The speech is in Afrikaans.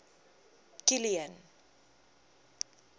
kilian